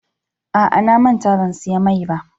A'a, na manta ban siya mai ba.